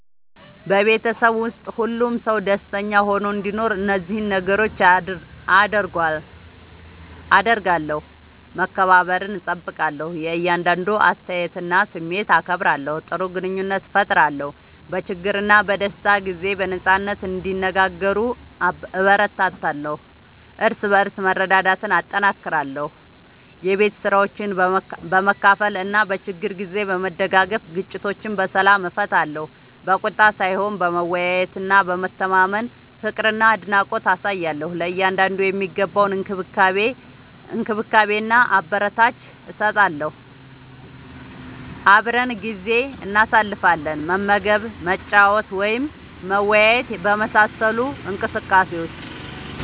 በቤተሰብ ውስጥ ሁሉም ሰው ደስተኛ ሆኖ እንዲኖር እነዚህን ነገሮች አደርጋለሁ፦ መከባበርን እጠብቃለሁ – የእያንዳንዱን አስተያየትና ስሜት አከብራለሁ። ጥሩ ግንኙነት እፈጥራለሁ – በችግርና በደስታ ጊዜ በነጻነት እንዲነጋገሩ እበረታታለሁ። እርስ በርስ መረዳዳትን እጠናክራለሁ – የቤት ስራዎችን በመካፈል እና በችግር ጊዜ በመደጋገፍ። ግጭቶችን በሰላም እፈታለሁ – በቁጣ ሳይሆን በመወያየትና በመተማመን። ፍቅርና አድናቆት አሳያለሁ – ለእያንዳንዱ የሚገባውን እንክብካቤና አበረታቻ እሰጣለሁ። አብረን ጊዜ እናሳልፋለን – መመገብ፣ መጫወት ወይም መወያየት በመሳሰሉ እንቅስቃሴዎች።